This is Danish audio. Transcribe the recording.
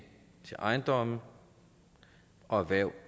til ejendomme og erhverv